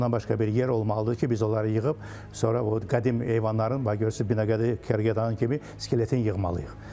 Ondan başqa bir yer olmalıdır ki, biz onları yığıb sonra o qədim heyvanların görürsüz Binəqədi Kərgədanın kimi skeletini yığmalıyıq.